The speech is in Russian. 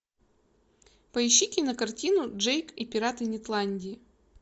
поищи кинокартину джейк и пираты нетландии